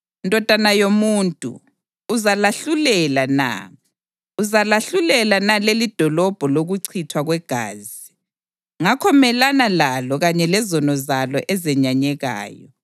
“Ndodana yomuntu, uzalahlulela na? Uzalahlulela na lelidolobho lokuchithwa kwegazi? Ngakho melana lalo kanye lezono zalo ezenyanyekayo